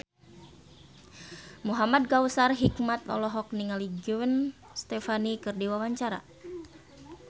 Muhamad Kautsar Hikmat olohok ningali Gwen Stefani keur diwawancara